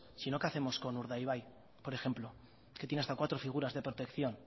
sino que hacemos con urdaibai por ejemplo que tiene hasta cuatro figuras de protección